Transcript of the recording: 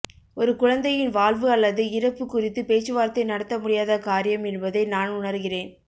ஒரு குழந்தையின் வாழ்வு அல்லது இறப்பு குறித்து பேச்சுவார்த்தை நடத்த முடியாத காரியம் என்பதை நான் உணர்கிறேன்